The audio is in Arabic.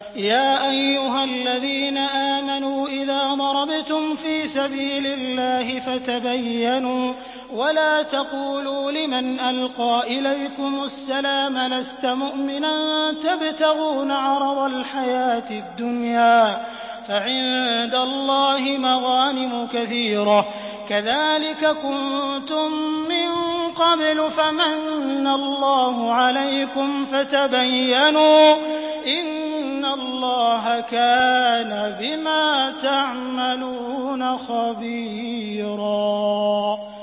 يَا أَيُّهَا الَّذِينَ آمَنُوا إِذَا ضَرَبْتُمْ فِي سَبِيلِ اللَّهِ فَتَبَيَّنُوا وَلَا تَقُولُوا لِمَنْ أَلْقَىٰ إِلَيْكُمُ السَّلَامَ لَسْتَ مُؤْمِنًا تَبْتَغُونَ عَرَضَ الْحَيَاةِ الدُّنْيَا فَعِندَ اللَّهِ مَغَانِمُ كَثِيرَةٌ ۚ كَذَٰلِكَ كُنتُم مِّن قَبْلُ فَمَنَّ اللَّهُ عَلَيْكُمْ فَتَبَيَّنُوا ۚ إِنَّ اللَّهَ كَانَ بِمَا تَعْمَلُونَ خَبِيرًا